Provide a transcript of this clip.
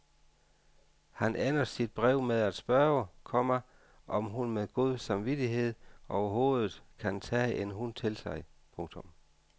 Han ender sit brev med at spørge, komma om hun med god samvittighed overhovedet kan tage en hund til sig. punktum